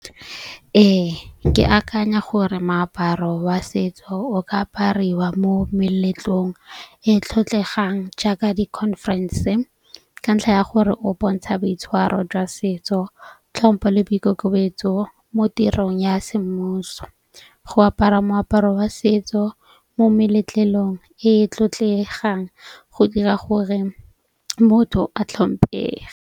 Ee, ke akanya gore moaparo wa setso o ka apariwa mo meletlong e e tlotlegang jaaka di-conference. Ka ntlha ya gore o bontsha boitshwaro jwa setso, tlhompho le boikokobetso mo tirong ya semmuso. Go apara moaparo wa setso mo meletlong e e tlotlegang go dira gore motho a tlhomphege.